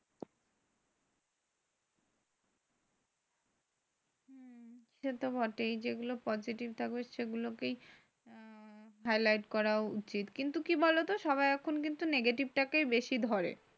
সেতো বটেই। যেগুলো positive থাকবে সেগুলোকেই হমম highlight করা উচিত। কিন্তু কি বলতো সবাই এখন কিন্তু negative টাকেই বেশি ধরে।